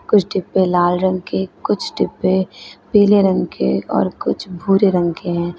कुछ डिब्बे लाल रंग के कुछ डिब्बे पीले रंग के और कुछ भूरे रंग के हैं।